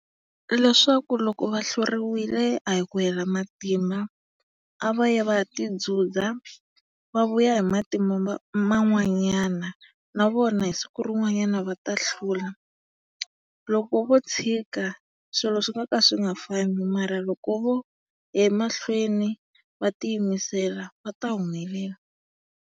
Leswaku loko va hluriwile a hi ku hela matimba, a va yi va ya ti dzudza, va vuya hi matimba man'wanyana na vona hi siku rin'wanyana va ta hlula. Loko vo tshika, swilo swi nga ka swi nga fambi mara loko vo ya emahlweni, va tiyimisela va ta humelela.